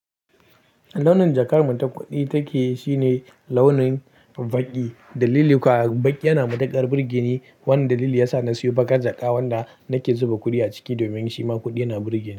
Launin jakar mu ta kuɗi take shine launin baƙi. Dalili kuwa, baƙi yana matuƙar burge ni. Wannan dalili yasa na siyo bakar jaka wanda nake zuba kuɗi a ciki domin shi ma kuɗi yana burge ni.